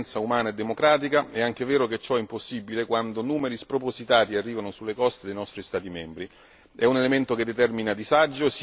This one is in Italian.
Se gli immigrati hanno diritto a un'accoglienza umana e democratica, è anche vero che ciò è impossibile quando numeri spropositati arrivano sulle coste dei nostri Stati membri.